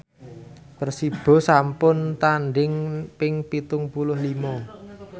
Persibo sampun tandhing ping pitung puluh lima